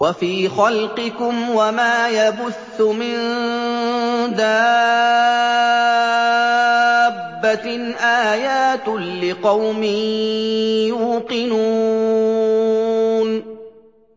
وَفِي خَلْقِكُمْ وَمَا يَبُثُّ مِن دَابَّةٍ آيَاتٌ لِّقَوْمٍ يُوقِنُونَ